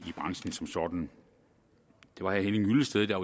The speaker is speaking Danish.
branchen som sådan det var herre henning hyllested der